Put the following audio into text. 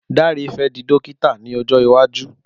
Dare fẹ di dókítà ni ojo iwaju.